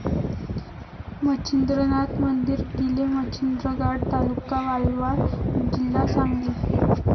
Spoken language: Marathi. मच्छिंद्रनाथ मंदिर, किलेमच्छिंद्र गाड, ता.वालवा, जी.सांगली